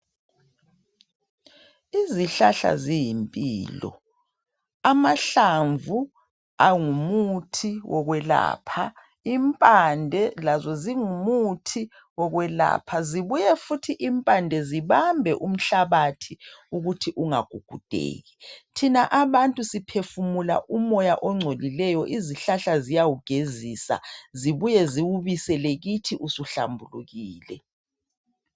Izihlahla ziyimpilo, amahlamvu ngumuthi wokwelapha impande lazo singumuthi wokwelapha zibuye futhi impande zibambe umhlabathi ukuthi ungagugudeki thina abantu siphefumula umoya ongcolileyo izihlahla ziyawugezisa zibuye ziwubisele kithi usuhlambulukile.